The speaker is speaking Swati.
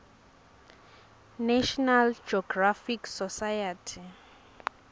national geographic society